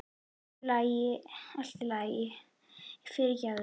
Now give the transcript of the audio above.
Allt í lagi, allt í lagi, fyrirgefðu.